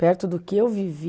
Perto do que eu vivi